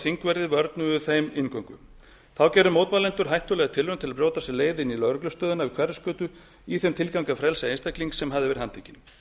og þingverðir vörnuðu þeim inngöngu þá gerðu mótmælendur hættulega tilraun til að brjóta sér leið inn í lögreglustöðina við hverfisgötu í þeim tilgangi að frelsa einstakling sem hafði verið handtekinn